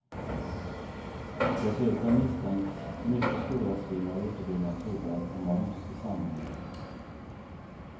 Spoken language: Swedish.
Dessutom misstänks mycket stora svinn av uteblivna tullar och moms i samband.